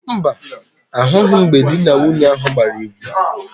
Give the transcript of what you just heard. Mba, ahụghị m mgbe di na nwunye ahụ gbara égwú.